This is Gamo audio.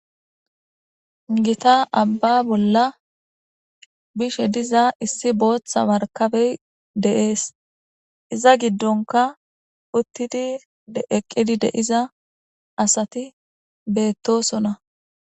gita abba bolla bishe diza issi booththa markabey deees iza giddonka uttidi deeqqidi deiza asati beettosona